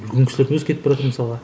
үлкен кісілердің өзі кетіп баратыр мысалға